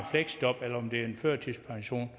fleksjob eller om det er en førtidspension